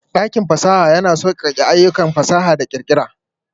Dakin fasaha yana sauƙaƙe ayyukan fasaha da ƙirƙira.